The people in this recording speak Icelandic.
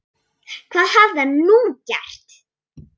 Hvað hafði hann nú gert?